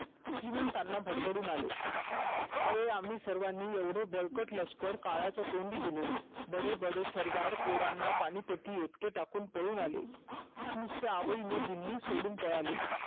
श्रीमंतांना भडभडून आले अरे आम्ही सर्वानी बळकट लष्कर काळाच्या तोंडी दिले बडे बडे सरदार पोरांना पानिपतच्या एकटे टाकून पळून आले नुसत्या आवळीने दिली सोडून पळाले